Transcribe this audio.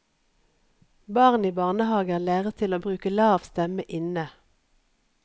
Barn i barnehager læres til å bruke lav stemme inne.